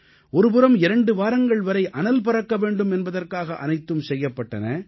ஒரு புறம் இரண்டு வாரங்கள் வரை அனல் பறக்க வேண்டும் என்பதற்காக அனைத்தும் செய்யப்பட்டன